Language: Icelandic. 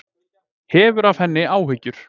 Hefur af henni áhyggjur.